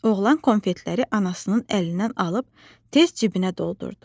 Oğlan konfetləri anasının əlindən alıb tez cibinə doldurdu.